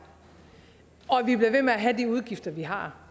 og vi bliver ved med at have de udgifter vi har